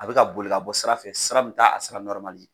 A bɛ ka boli ka bɔ sira fɛ sira min ta a sira ye.